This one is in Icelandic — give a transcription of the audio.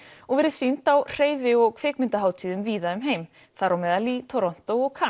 og verið sýnd á hreyfi og kvikmyndahátíðum víða um heim þar á meðal í Toronto og